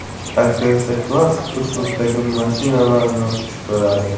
Aktrisa klassik uslubidagi mashinalarni xush ko‘radi.